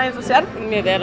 þú sérð